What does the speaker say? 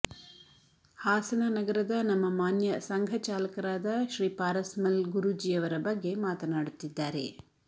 ಹಾಸನ ನಗರದ ನಮ್ಮ ಮಾನ್ಯ ಸಂಘಚಾಲಕರಾದ ಶ್ರೀ ಪಾರಸ್ ಮಲ್ ಗುರೂಜಿಯವರ ಬಗ್ಗೆ ಮಾತನಾಡುತ್ತಿದ್ದಾರೆ